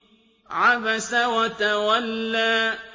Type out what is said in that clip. عَبَسَ وَتَوَلَّىٰ